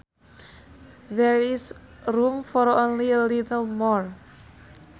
There is room for only a little more